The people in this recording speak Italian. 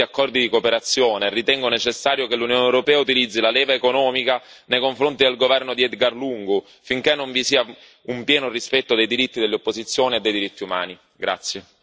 Alla luce dei recenti accordi di cooperazione, ritengo necessario che l'Unione europea utilizzi la leva economica nei confronti del governo di Edgar Lungu finché non vi sia un pieno rispetto dei diritti dell'opposizione e dei diritti umani.